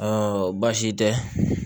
baasi tɛ